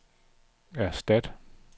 erstat